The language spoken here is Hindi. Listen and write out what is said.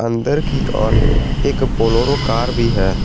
अंदर की ओर एक बोलोरो कार भी है।